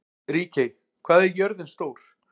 Ríkey, hvað er jörðin stór?